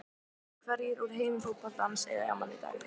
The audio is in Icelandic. Hverjir úr heimi fótboltans eiga afmæli í dag?